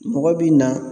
Mɔgɔ bi na